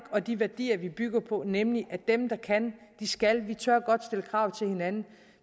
og de værdier vi bygger på nemlig at dem der kan skal vi tør godt stille krav til hinanden